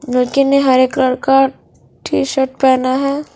लडकी ने हरे कलर का टीशर्ट पहना है।